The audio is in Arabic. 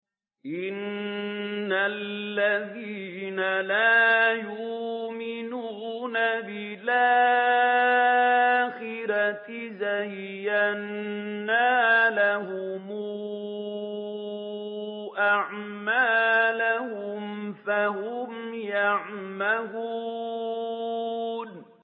إِنَّ الَّذِينَ لَا يُؤْمِنُونَ بِالْآخِرَةِ زَيَّنَّا لَهُمْ أَعْمَالَهُمْ فَهُمْ يَعْمَهُونَ